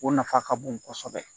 O nafa ka bon kosɛbɛ